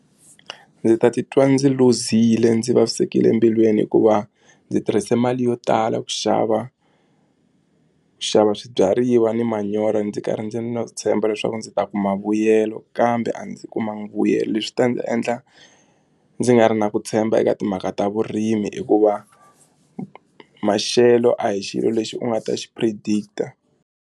Ndzi ta titwa ndzi luzile ndzi vavisekile embilwini hikuva ndzi tirhise mali yo tala ku xava ku xava swibyariwa na manyoro ndzi karhi ndzi na ku tshemba leswaku ndzi ta kuma vuyelo kambe a ndzi kumanga vuyelo leswi ta ndzi endla ndzi nga ri na ku tshemba eka timhaka ta vurimi hikuva maxelo a hi xilo lexi u nga ta xi predict-a.